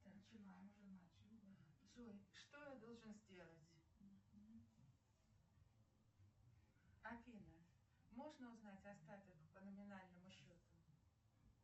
джой что я должен сделать афина можно узнать остаток по номинальному счету